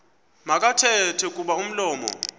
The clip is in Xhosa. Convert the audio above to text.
makathethe kuba umlomo